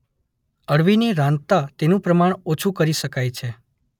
અળવીને રાંધતા તેનું પ્રમાણ ઓછું કરી શકાય છે.